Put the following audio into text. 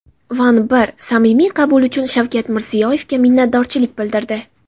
Van I samimiy qabul uchun Shavkat Mirziyoyevga minnatdorlik bildirdi.